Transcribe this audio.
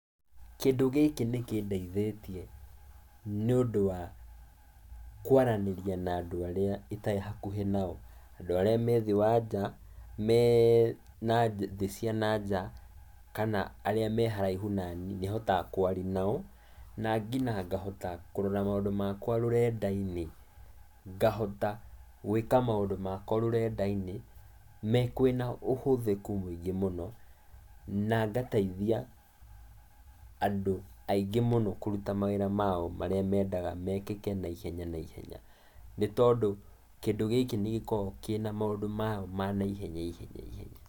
Kĩndũ gĩkĩ nĩkĩndeithĩtie, nĩũndũ wa kũaranĩria na andũ arĩa itarĩ hakuhĩ nao, andũ arĩa methĩ wa nja mee na thĩ cia nanja kana arĩa meharaihu naniĩ, nĩhotaga kwaria nao, na ngina ngahota kũrora maũndũ makwa rũrenda-inĩ, ngahota gwĩka maũndũ makwa rũrenda-inĩ, me kwĩna ũhũthĩku mũingĩ mũno na ngateithia andũ aingĩ mũno kũruta mawĩra mao marĩa mendaga mekĩke naihenya naihenya, nĩtondũ kĩndũ gĩkĩ nĩgĩkoragwo kĩna maũndũ mao ma naihenya ihenya ihenya.